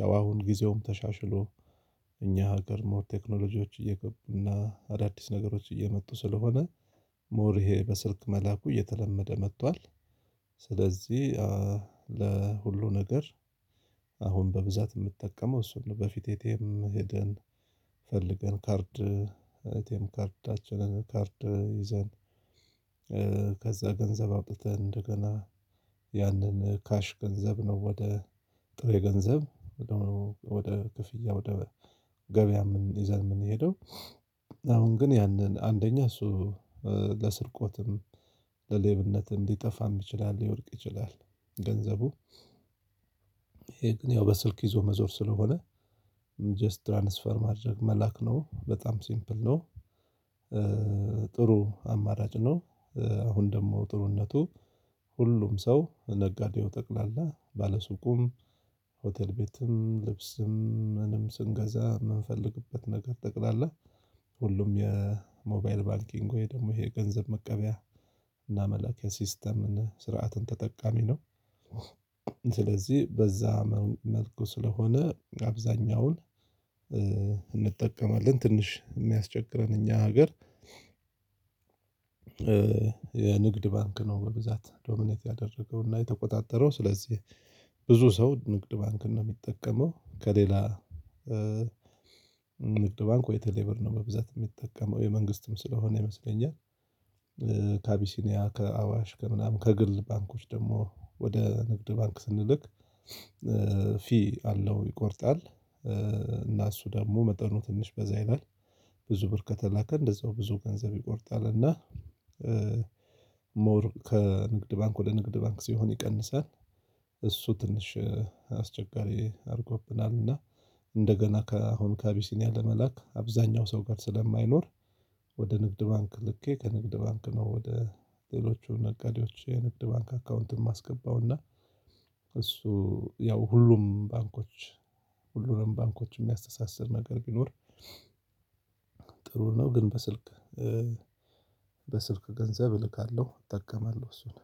ያው አሁን ጊዜውም ተሻሽሎ እኛ ሀገር ሞር ቴክኖሎጂዎች እየገቡና አዳዲስ ነገሮች እየመጡ ስለሆነ ሞር ይሄ በስልክ መላኩ እየተለመደ መጥቷል። ስለዚህ ለሁሉ ነገር አሁን በብዛት የምጠቀመው እሱን ነው። በፊት እቴም ሄደን ፈልገን ካርድ እቴም ካርዳችንን ካርድ ይዘን ከዛ ገንዘብ አውጥተን እንደገና ያንን ካሽ ገንዘብ ነው ወደ ጥሬ ገንዘብ። ወደ ክፍያ ወደ ገበያም ይዘን የምንሄደው አሁን ግን ያንን አንደኛ እሱ ለስርቆትም ለሌብነትም ሊጠፋም ይችላል ሊወድቅ ይችላል። ገንዘቡ ይሄ ግን በስልክ ይዞ መዞር ስለሆነ ትራንስፈር ማድርግ መላክ ነው በጣም ሲምፕል ነው። ጥሩ አማራጭ ነው። አሁን ደግሞ ጥሩነቱ ሁሉም ሰው ነጋዴው ጠቅላላ ባለሱቁም ሆቴል ቤትም ልብስም ምንም ስንገዛ የምንፈልግበት ነገር ጠቅላላ ሁሉም የሞባይል ባንኪንግ ወይ ደግሞ የገንዘብ መቀበያ እና መላኪያ ሲስተምን ስርዓትን ተጠቃሚ ነው። ስለዚህ በዛ መልኩ ስለሆነ አብዛኛውን እንጠቀማለን ትንሽ የሚያስቸግረን እኛ ሀገር የንግድ ባንክ ነው። በብዛት ዶሚኔት ያደረገው እና የተቆጣጠረው ስለዚህ ብዙ ሰው ንግድ ባንክን ነው የሚጠቀመው ከሌላ ንግድ ባንኩ የተለየ ብር ነው በብዛት የሚጠቀመው የመንግስትም ስለሆነ ይመስለኛል። ካቢሲኒያ ከአዋሽ ከምናምን ከግል ባንኮች ደግሞ ወደ ንግድ ባንክ ስንልክ ፊ አለው ይቆርጣል እና እሱ ደግሞ መጠኑ ትንሽ በዛ ይላል ብዙ ብር ከተላከ እንደዛው ብዙ ገንዘብ ይቆርጣልና። ሞር ከንግድ ባንክ ወደ ንግድ ባንክ ሲሆን ይቀንሳል። እሱ ትንሽ አስቸጋሪ አድርጎብናል እና እንደገና ከአሁን ካቢሲኒያ ለመላክ አብዛኛው ሰው ጋር ስለማይኖር ወደ ንግድ ባንክ ልኬ ከንግድ ባንክ ነው ወደ ሌሎቹ ነጋዴዎች የንግድ ባንክ አካውንትን ማስገባው እና። እሱ ያው ሁሉም ባንኮች ሁሉንም ባንኮች የሚያስተሳስር ነገር ቢኖር ጥሩ ነው። ግን በስልክ በስልክ ገንዘብ እልካለሁ እጠቀማለሁ እሱን።